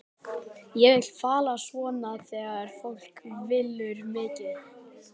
Það vill fara svona þegar fólk vinnur mikið.